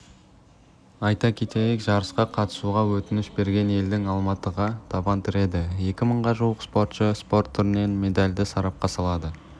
айта кетейік жарысқа қатысуға өтініш берген елдің алматыға табан тіреді екі мыңға жуық спортшы спорт түрінен медальды сарапқа салады